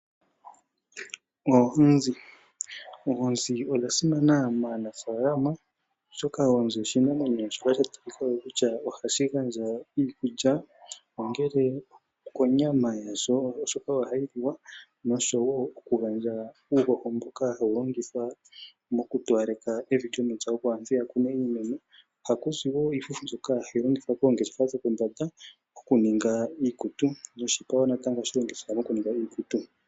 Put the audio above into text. Oonzi odhasimana maanafalama oshoka ohadhi pe aanafalama oonyama yokulya, uuhoho wopiimeno, nosho woo oshipa niifufu ndjoka hayi ningwa iikutu unene tuu aanangeshefa yiikutu.